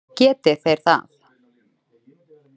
Geti þeir það?